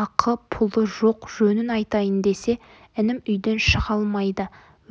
ақы-пұлы жоқ жөнін айтайын десе інім үйден шыға алмайды